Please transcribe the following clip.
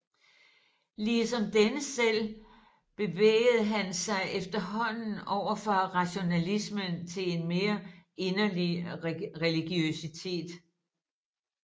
Ligesom denne selv bevægede han sig efterhånden over fra rationalismen til en mere inderlig religiøsitet